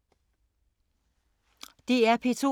DR P2